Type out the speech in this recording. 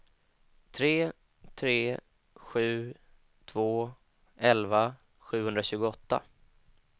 tre tre sju två elva sjuhundratjugoåtta